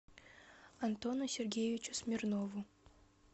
антону сергеевичу смирнову